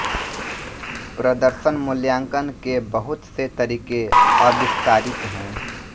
प्रदर्शन मूल्यांकन के बहुत से तरीके आविष्कारित है